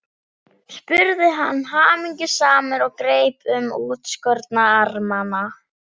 spurði hann hamingjusamur og greip um útskorna armana.